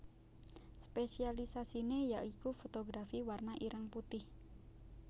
Spésialisasiné ya iku fotografi warna ireng putih